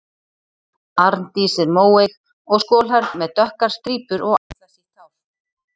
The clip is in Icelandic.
Arndís er móeyg og skolhærð með dökkar strípur og axlasítt hár.